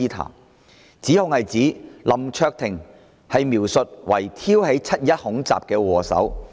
當中的指控是將林卓廷議員描述為挑起"七二一"恐襲的禍首。